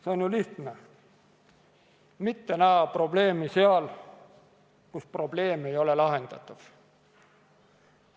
See on ju lihtne – mitte näha probleemi seal, kus probleem ei ole lahendatav.